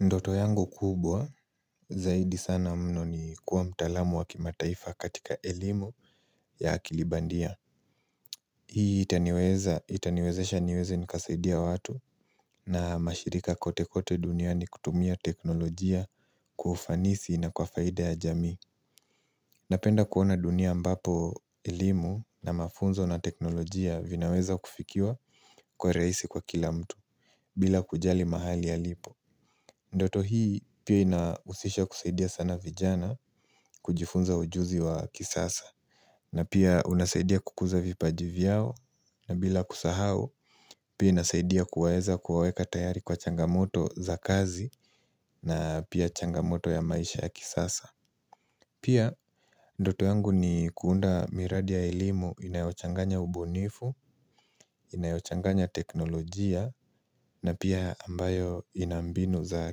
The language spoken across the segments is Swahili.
Ndoto yangu kubwa, zaidi sana mno ni kuwa mtaalamu wa kimataifa katika elimu ya akili bandia. Hii itaniweza, itaniwezesha niweze nikasaidia watu na mashirika kote kote duniani kutumia teknolojia kwa ufanisi na kwa faida ya jamii. Napenda kuona dunia ambapo elimu na mafunzo na teknolojia vinaweza kufikiwa kwa rahisi kwa kila mtu, bila kujali mahali alipo. Ndoto hii pia inahusisha kusaidia sana vijana kujifunza ujuzi wa kisasa na pia unasaidia kukuza vipaji vyao na bila kusahau pia inasaidia kuweza kuwaweka tayari kwa changamoto za kazi na pia changamoto ya maisha ya kisasa Pia ndoto yangu ni kuunda miradi ya elimu inayochanganya ubunifu Inayochanganya teknolojia na pia ambayo ina mbinu za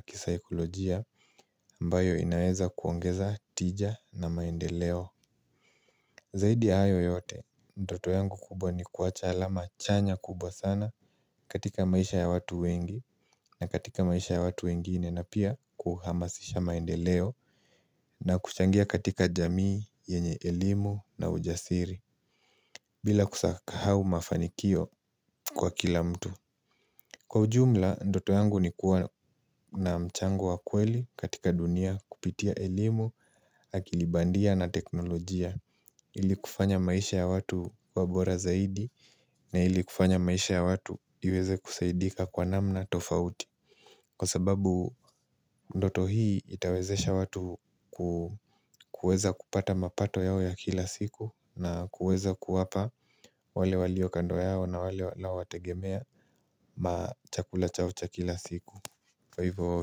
kisaikolojia ambayo inaeza kuongeza tija na maendeleo Zaidi ya hayo yote, ndoto yangu kubwa ni kuwacha alama chanya kubwa sana katika maisha ya watu wengi na katika maisha ya watu wengine na pia kuhamasisha maendeleo na kuchangia katika jamii, yenye elimu na ujasiri bila kusahau mafanikio kwa kila mtu Kwa ujumla, ndoto yangu ni kuwa na mchango wa kweli katika dunia kupitia elimu akili bandia na teknolojia Ili kufanya maisha ya watu kuwa bora zaidi na ili kufanya maisha ya watu iweze kusaidika kwa namna tofauti Kwa sababu ndoto hii itawezesha watu kuweza kupata mapato yao ya kila siku na kuweza kuwapa wale walio kando yao na wale lao wategemea Machakula chao cha kila siku Kwa hivyo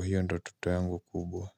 hiyo ndoto yangu kubwa.